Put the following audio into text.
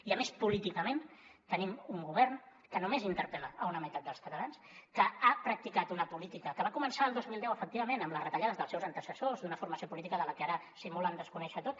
i a més políticament tenim un govern que només interpel·la una meitat dels catalans que ha practicat una política que va començar el dos mil deu efectivament amb les retallades dels seus antecessors d’una formació política de la que ara simulen desconèixer ho tot